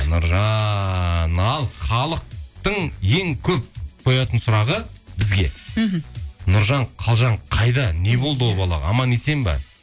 нұржан ал халықтың ең көп қоятын сұрағы бізге мхм нұржан қалжан қайда не болды ол балаға аман есен ба